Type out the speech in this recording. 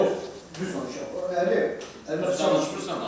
Yox, çünki onun əri əməkdaşlıq eləmir.